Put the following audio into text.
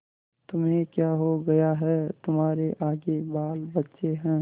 तुम्हें क्या हो गया है तुम्हारे आगे बालबच्चे हैं